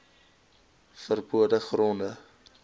ver bode gronde